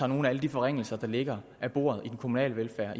nogle af alle de forringelser der ligger af den kommunale velfærd